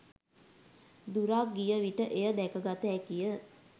දුරක් ගිය විට එය දැකගත හැකිය.